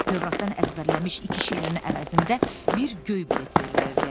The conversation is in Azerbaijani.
Tövratdan əzbərləmiş iki şeirin əvəzində bir göy bilet verilirdi.